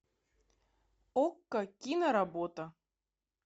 окко киноработа